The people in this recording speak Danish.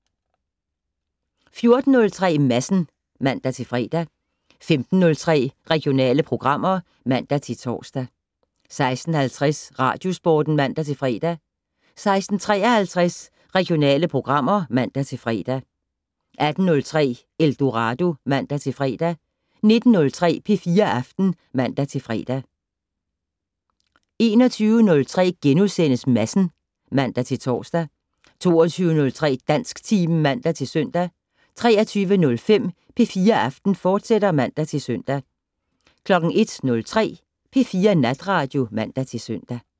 14:03: Madsen (man-fre) 15:03: Regionale programmer (man-tor) 16:50: Radiosporten (man-fre) 16:53: Regionale programmer (man-fre) 18:03: Eldorado (man-fre) 19:03: P4 Aften (man-fre) 21:03: Madsen *(man-tor) 22:03: Dansktimen (man-søn) 23:05: P4 Aften, fortsat (man-søn) 01:03: P4 Natradio (man-søn)